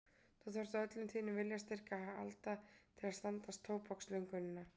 Þú þarft á öllum þínum viljastyrk að halda til að standast tóbakslöngunina.